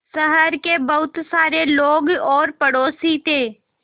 शहर के बहुत सारे लोग और पड़ोसी थे